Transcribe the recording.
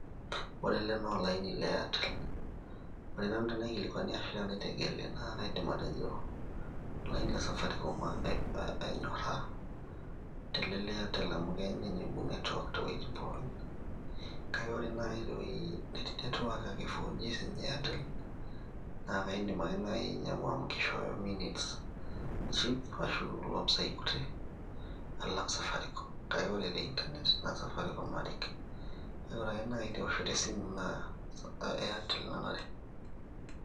ore ele naa olaini le airetel ore nanu tenaikilikuani ashu tenaitegeli naa kaidim atejo olaini le safaricom anyorra tele le airtel amu keeny ninye iibung network toowuejitin pookin kake ore naaji tewueji netii network ake 4g siinye e airtel naa kaindim ake naaji ainyiang'u amukishooyo minutes cheap ashu loompisa kutik alang safaricom kake ore te inernet naa safaricom narik, kake ore ake naaji teoshoto esimu naa airtel nanare.